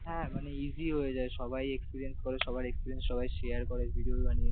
হ্যাঁ মানে easy হয়ে যায় সবাই experience করে সবার experience সবাই share করে videos বানিয়ে ।